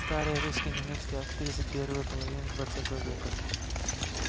старая русско-немецкая актриса первой половины двадцатого века